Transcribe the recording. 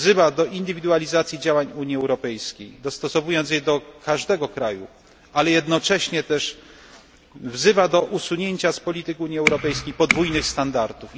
Wzywa do indywidualizacji działań Unii Europejskiej, dostosowując je do każdego kraju, ale jednocześnie też wzywa do usunięcia z polityki europejskiej podwójnych standardów.